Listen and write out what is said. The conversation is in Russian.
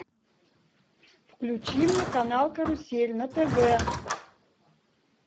включи мне канал карусель на тв